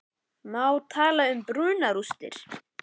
Má tala um brunarústir?